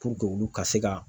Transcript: olu ka se ka.